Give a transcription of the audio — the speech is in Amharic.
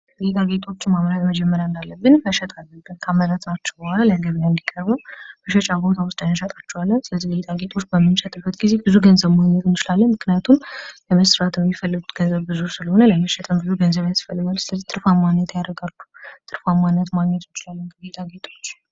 ጌጣጌጦችን ካመረትናቸው በኋላ ለገብያ እንዲቀርቡ መሸጫ ቦታዎች ውስጥ ወስደን እንሸጣቸዋለን። እነዚህን ጌጣጌጦች በምንሸጥበት ጊዜ ብዙ ገንዘቦችን ማግኘት እንችላለን ።